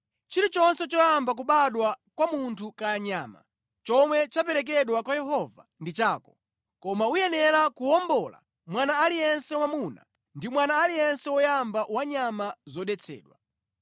Chilichonse choyamba kubadwa kwa munthu kaya nyama, chomwe chaperekedwa kwa Yehova ndi chako. Koma uyenera kuwombola mwana aliyense wamwamuna ndi mwana aliyense woyamba wa nyama zodetsedwa.